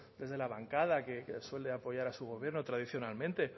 desde la bancada que suele apoyar a su gobierno tradicionalmente